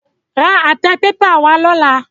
Ra àtẹ pépà wá lọ́la.